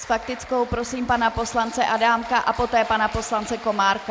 S faktickou prosím pana poslance Adámka a poté pana poslance Komárka.